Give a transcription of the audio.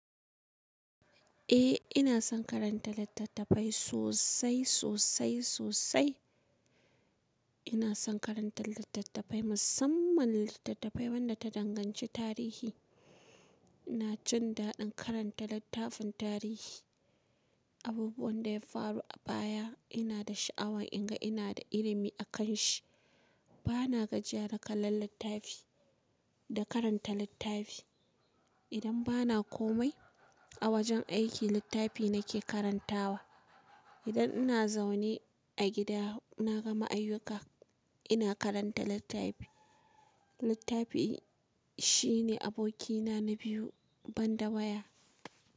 Eh ina son karanta littattafai sosai, sosai, sosai. Ina son karanta littattafai musamman littattafai wadda ta danganci tarihi. Ina jin daɗin karanta littafin tarihi. Abubuwan da ya faru a baya ina da sha'awan in ga ina da ilimi akan shi. Bana gajiya da kallon littafi da karanta littafi. Idan bana komai a wajen aiki, littafi nake karantawa. Idan ina zaune a gida, naga ma'aikuka ina karanta littafi. Littafi shine abokina na biyu banda waya.